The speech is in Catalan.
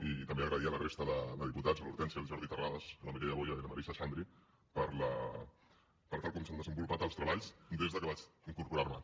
i també donar les gràcies a la resta de diputats l’hortènsia el jordi terrades la mireia boya i la marisa xandri per tal com s’han desenvolupat els treballs des que vaig incorporar m’hi